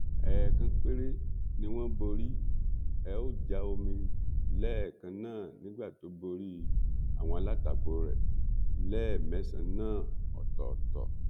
ẹ̀ẹ̀kan péré ni wọ́n borí ẹ ó já omi lẹ́ẹ̀kan náà nígbà tó borí àwọn alátakò rẹ̀ lẹ́ẹ̀mẹsàn-án náà ọ̀tọ̀ọ̀tọ̀